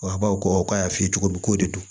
A baw ko k'a y'a f'i ye cogo min ko de do